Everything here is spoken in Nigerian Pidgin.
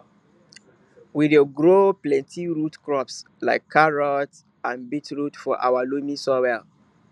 we dey grow plenty root crops like carrots and beetroot for our loamy soil